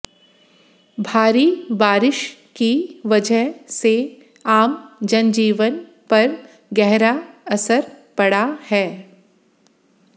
भारी बारिश की वजह से आम जनजीवन पर गहरा असर पड़ा है